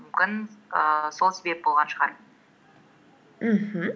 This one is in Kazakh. мүмкін ііі сол себеп болған шығар мхм